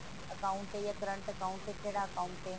account ਜਾ current account ਹੈ ਕਿਹੜਾ account ਹੈ